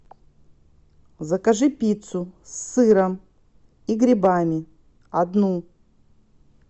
закажи пиццу с сыром и грибами одну